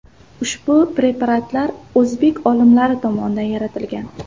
Ushbu preparatlar o‘zbek olimlari tomonidan yaratilgan.